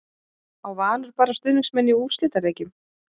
Á Valur bara stuðningsmenn í úrslitaleikjum?